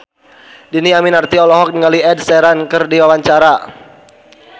Dhini Aminarti olohok ningali Ed Sheeran keur diwawancara